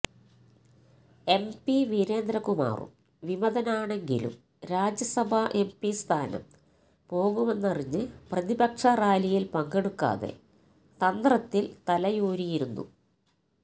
MP വീരേന്ദ്രകുമാറും വിമതനാണെങ്കിലും രാജ്യസഭാ എംപി സ്ഥാനം പോകുമെന്നറിഞ്ഞ് പ്രതിപക്ഷ റാലിയില് പങ്കെടുക്കാതെ തന്ത്രത്തില് തലയൂരിയിരുന്നു